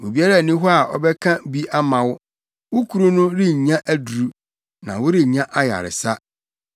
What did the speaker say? Obiara nni hɔ a ɔbɛka bi ama wo, wo kuru no rennya aduru, na worennya ayaresa.